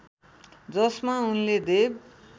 जसमा उनले देव